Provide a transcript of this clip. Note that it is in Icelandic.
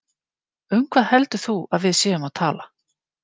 Um hvað heldur þú að við séum að tala!